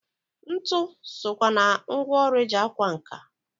Ntụ sokwa na ngwọrụ eji akwa nka.